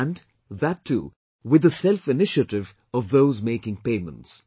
And, that too with the self initiative of those making payments